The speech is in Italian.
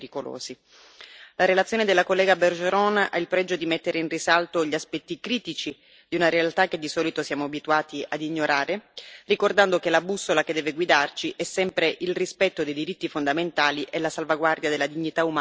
La relazione della collega Bergeron ha il pregio di mettere in risalto gli aspetti critici di una realtà che, di solito, siamo abituati ad ignorare, ricordando che la bussola che deve guidarci è sempre il rispetto dei diritti fondamentali e la salvaguardia della dignità umana dei detenuti.